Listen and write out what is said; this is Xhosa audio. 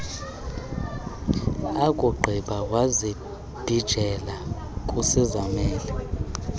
akugqiba wazibhijela kuzizamele